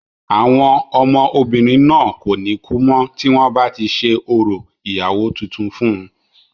àwọn ọmọ obìnrin náà kò ní kú mọ́ tí wọ́n bá ti ṣe orò ìyàwó tuntun fún un